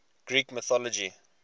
greek mythology